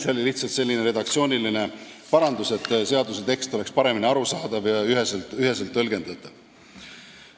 See oli lihtsalt selline redaktsiooniline parandus, et seaduse tekst oleks paremini arusaadav ja üheselt tõlgendatav.